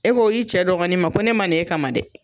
E ko i cɛ dɔgɔni ma ko ne ma na e kama dɛ!